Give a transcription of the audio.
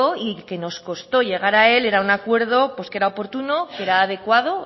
y que nos costó llegar a él era un acuerdo que era oportuno que era adecuado